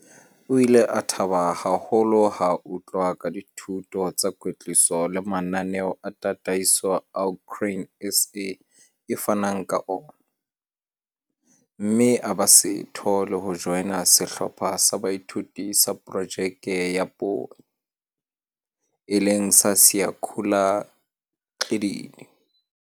O ile a thaba haholo ha a utlwa ka dithuto tsa kwetliso le mananeo a tataiso ao Grain SA e fanang la ona, mme a ba setho le ho joina Sehlopha sa Boithuto sa Projeke ya Poone, e leng sa Siyakhula Gxididi.